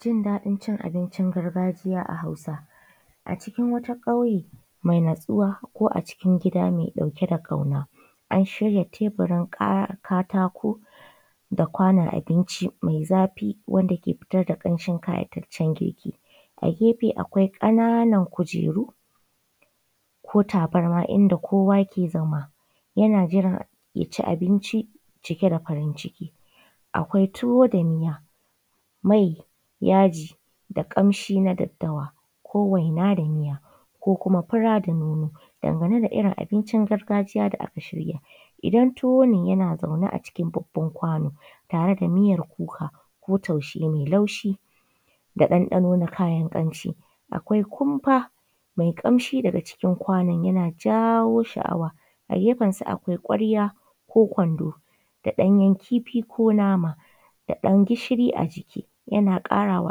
Jin daɗin cin abicin gargajiya a Hausance. A cikin wata ƙauye mai natsuwa ko acikin gida mai ɗauke da ƙauna ana shirya teburin katako da kwanon abinci mai zafi wanda ke fitar da ƙamshin ƙayataccen girki, a gefe akwai ƙananan kujeru ko tabarma inda kowa ke zama yana jiran ya ci abinci cike da farin ciki. Akwai tuwo da miya, mai, yaji da ƙamshi na daddawa ko waina da miya ko kuma fura da nono. Dangane da irin abincin gargajiya da aka shirya, idan tuwo ne yana zaune a cikin babban kwano tare da miyar kuka ko taushe mai laushi da ɗanɗano na kayan ƙamshi. Akwai kumfa mai ƙamshi daga cikin kwanon yana jawo sha’awa a gefen sa akwai ƙwarya ko kwando da ɗanyen kifi ko nama da ɗan gishiri a ciki yana ƙarawa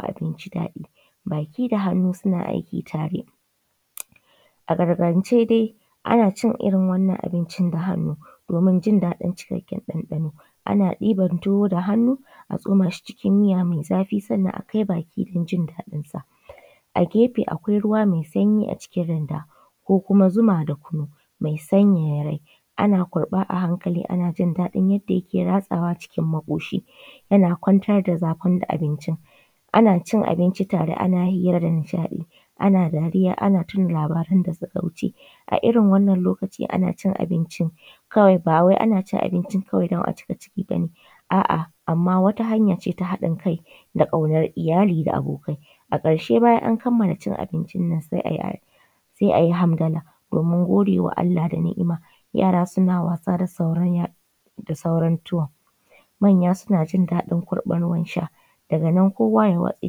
abinci daɗi baki da hannu suna aiki tare. A gargajiyance dai ana cin wannan abincin da hannu domin jin daɗin cikakken ɗanɗano. Ana ɗiban tuwo da hannu a tsoma shi cikin miya mai zafi sannan a kai baki don jin daɗin sa a gefe akwai ruwa mai sanyi a cikin randa ko kuma zuma da kunu mai sanyaya rai. Ana kurɓa a hankali ana jin daɗin yadda yake ratsawa cikin maƙoshi yana kwantar da zafin abinci. Ana cin abinci tare ana hira da nishaɗi ana dariya ana tuna labaran da suka wuce irin wannan lokaci ana cin abincin kawai ba wai ana cin abincin don a cika ciki bane, a’a, amma wata hanya ce ta haɗin kai da ƙaunar iyali da abokai. A ƙarshe bayan an kamala cin abinci nan sai a yi sai a yi hamdala domin godewa Allah da ni’ima yara suna wasa da sauran tuwon manya suna jin daɗin kurɓan ruwan sha, daga nan kowa ya watse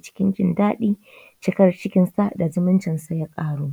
cikin jin daɗi cikar cikin haɗa zumunci su ya ƙaru.